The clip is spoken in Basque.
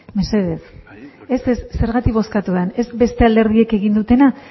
mesedez ez ez zergatik bozkatu den ez beste alderdiek egin dutena